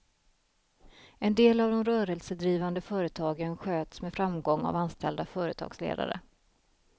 En del av de rörelsedrivande företagen sköts med framgång av anställda företagsledare.